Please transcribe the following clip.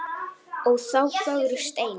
Ó þá fögru steina.